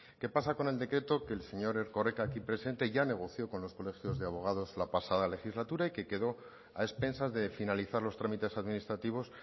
qué pasa con el decreto que el señor erkoreka aquí presente ya negoció con los colegios de abogados la pasada legislatura y que quedó a expensas de finalizar los trámites administrativos